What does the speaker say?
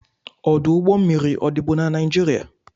Ọdụ ụgbọ mmiri a dịbu na Naịjirịa?